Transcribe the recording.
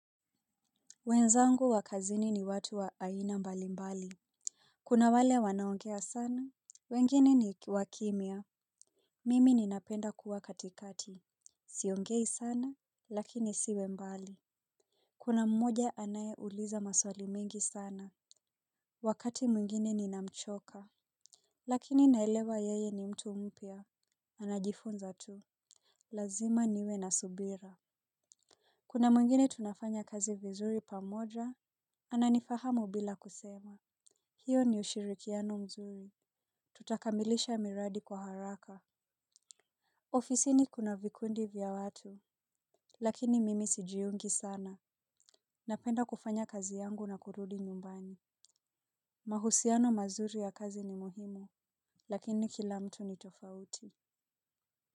Wenzangu wa kazini ni watu wa aina mbali mbali. Kuna wale wanaongea sana, wengine ni wakimya. Mimi ninapenda kuwa katikati. Siongei sana, lakini isiwe mbali. Kuna mmoja anayeuliza maswali mingi sana. Wakati mwingine ninamchoka. Lakini naelewa yeye ni mtu mupya. Anajifunza tu. Lazima niwe na subira. Kuna mwingine tunafanya kazi vizuri pamoja, ananifahamu bila kusema. Hiyo ni ushirikiano mzuri. Tutakamilisha miradi kwa haraka. Ofisini kuna vikundi vya watu. Lakini mimi sijiungi sana. Napenda kufanya kazi yangu na kurudi nyumbani. Mahusiano mazuri ya kazi ni muhimu. Lakini kila mtu ni tofauti.